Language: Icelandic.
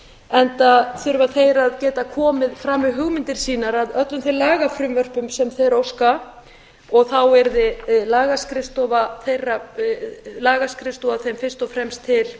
enda þurfa þeir að geta komið fram með hugmyndir sínar að öllum þeim lagafrumvörpum sem þeir óska og þá yrði lagaskrifstofa þeim fyrst og fremst til